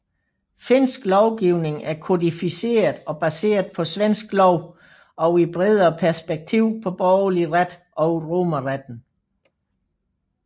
Finsk lovgivning er kodificeret og baseret på svensk lov og i bredere perspektiv på borgerlig ret og romerretten